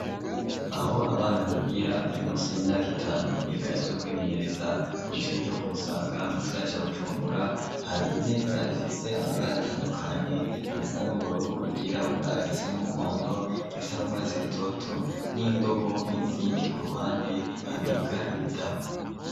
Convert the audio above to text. Aho abana bigira bari munsi y'imyaka itanubiga ivyo kwimenyereza, kw'ishure ryo ku Musaga mu gisagara ca Bujumbura hari imeza ifise amabara atandukanye irisa n'ubururu, iryirabura, irisa n'umuhondo n'indobo n'izindi ku ruhande habika ibitabo.